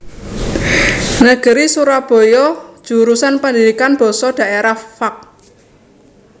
Negeri Surabaya Jurusan Pendidikan Basa Daerah Fak